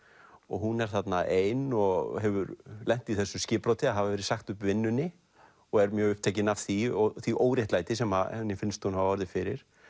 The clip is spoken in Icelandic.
hún er þarna ein og hefur lent í þessu skipbroti að hafa verið sagt upp vinnunni og er mjög upptekin af því og því óréttlæti sem henni finnst hún hafa orðið fyrir